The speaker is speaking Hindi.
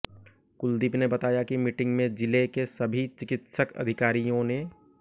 कुलदीप ने बताया कि मीटिंग में जिले के सभी चिकित्सक अधिकारियों ने